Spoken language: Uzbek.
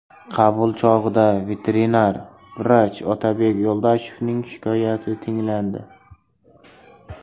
Qabul chog‘ida veterinar vrach Otabek Yo‘ldoshevning shikoyati tinglandi.